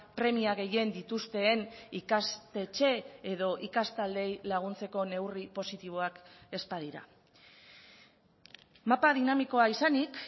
premia gehien dituzten ikastetxe edo ikastaldeei laguntzeko neurri positiboak ez badira mapa dinamikoa izanik